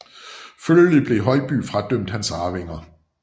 Følgelig blev Højby fradømt hans arvinger